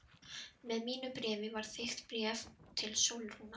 Með mínu bréfi var þykkt bréf til Sólrúnar.